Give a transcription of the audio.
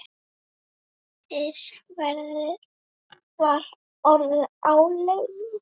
Hins vegar var orðið áliðið.